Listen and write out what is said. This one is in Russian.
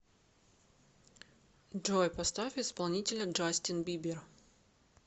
джой поставь исполнителя джастин бибер